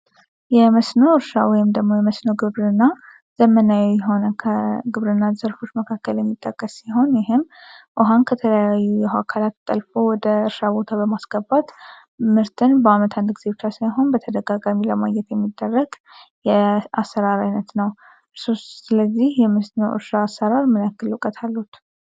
የመስኖ እርሻ ወይም ደግሞ የመስኖ ግብር እና ዘመናዊ የሆነ ከግብር እና ዘርፎች መካከል የሚጠቀስ ሲሆን ይህም ውሃን ከተለያዩ የሃካላክ ጠልፎ ወደ እርሻ ቦታ በማስከባት ምርትን በዓመት አንድ ጊዜብቻ ሳይሆን በተደጋጋሚ ለማየት የሚደረግ የአሰራር ዓይነት ነው። እርሱስ ስለዚህ የመስኖ እርሻ አሰራር መለክል እውቀት አሉት?